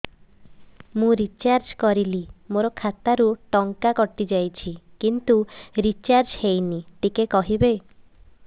ମୁ ରିଚାର୍ଜ କରିଲି ମୋର ଖାତା ରୁ ଟଙ୍କା କଟି ଯାଇଛି କିନ୍ତୁ ରିଚାର୍ଜ ହେଇନି ଟିକେ କହିବେ